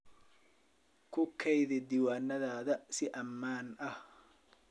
Ku keydi diiwaannadaada si ammaan ah.